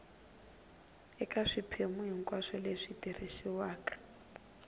eka swiphemu hinkwaswo leswi tirhisiwaka